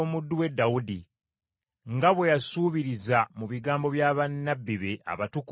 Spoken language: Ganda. Nga bwe yasuubiriza mu bigambo bya bannabbi be abatukuvu ab’edda ennyo,